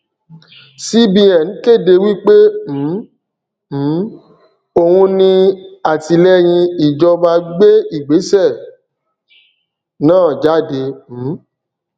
cbn kéde wí pé um um òun ní àtìlẹyìn ìjọba gbé ìgbésẹ náà jáde um